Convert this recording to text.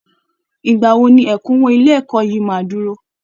Ìgbà wo ni ẹ̀kúnwó ilé ẹ̀kọ́ yìí máa dúró?